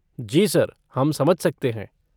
जी sir, हम समझ सकते हैं।